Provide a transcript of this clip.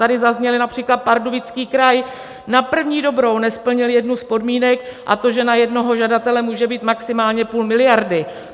Tady zazněl například Pardubický kraj: na první dobrou nesplnili jednu z podmínek, a to že na jednoho žadatele může být maximálně půl miliardy.